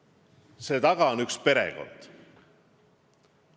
Aga selle taga on üks perekond.